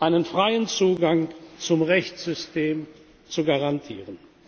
Frauen einen freien Zugang zum Rechtssystem zu garantieren.